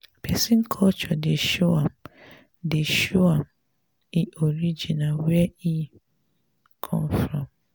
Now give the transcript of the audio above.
pesin culture dey show am dey show am e origin where e come from.